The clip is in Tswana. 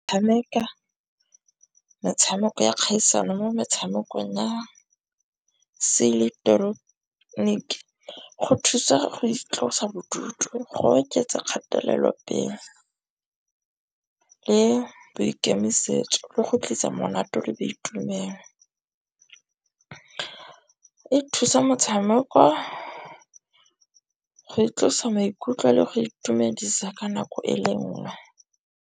Tshameka metshameko ya kgaisano mo metshamekong ya seileketeroniki go thusa go itlosa bodutu. Go oketsa kgatelelo le boikemisetso le go tlisa monate le boitumelo. E thusa metshameko go itlosa maikutlo le go itumedisa ka nako e le nngwe.